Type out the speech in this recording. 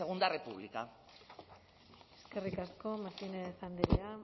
segundo república eskerrik asko martínez andrea